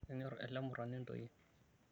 Kenyorr ele murrani intoyie.